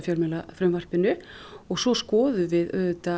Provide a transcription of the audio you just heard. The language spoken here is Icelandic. fjölmiðlafrumvarpinu og svo skoðum við